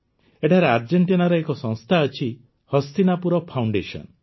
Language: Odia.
ଏଠାରେ ଆର୍ଜେଂଟିନାର ଏକ ସଂସ୍ଥା ଅଛିହସ୍ତିନାପୁର ଫାଉଣ୍ଡେସନ